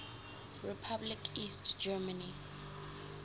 republic east germany